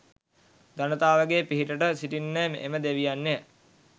ජනතාවගේ පිහිටට සිටින්නේ එම දෙවියන්ය